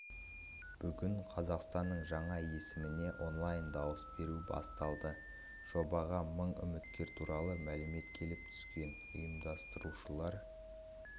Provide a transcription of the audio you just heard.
бүгін қазақстанның жаңа есіміне онлайн дауыс беру басталды жобаға мың үміткер туралы мәлімет келіп түскен ұйымдастырушылар